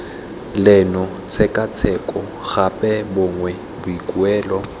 leno tshekatsheko gape gongwe boikuelo